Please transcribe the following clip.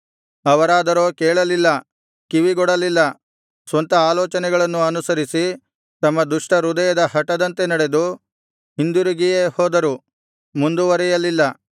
ಅವರಾದರೋ ಕೇಳಲಿಲ್ಲ ಕಿವಿಗೊಡಲಿಲ್ಲ ಸ್ವಂತ ಆಲೋಚನೆಗಳನ್ನು ಅನುಸರಿಸಿ ತಮ್ಮ ದುಷ್ಟಹೃದಯದ ಹಟದಂತೆ ನಡೆದು ಹಿಂದಿರುಗಿಯೇ ಹೋದರು ಮುಂದುವರಿಯಲಿಲ್ಲ